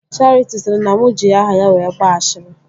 Charity sịrị na mụ ji aha ya wee gbaa ashịrị